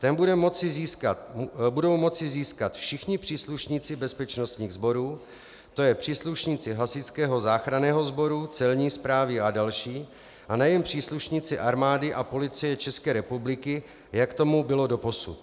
Ten budou moci získat všichni příslušníci bezpečnostních sborů, to je příslušníci Hasičského záchranného sboru, Celní správy a další, a nejen příslušníci Armády a Policie České republiky, jak tomu bylo doposud.